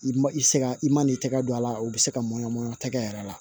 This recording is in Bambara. I ma i se ka i man n'i tɛgɛ don a la o bɛ se ka mɔ tɛgɛ yɛrɛ la